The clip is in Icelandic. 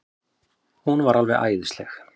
Hún var alveg æðisleg.